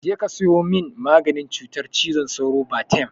Je ka sayo min maganin cutar cizon sauro, Batem!